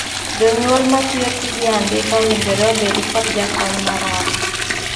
Jonyuol ma tiyo tije andika owinjore obed kod jakony mar ot (jatij ot).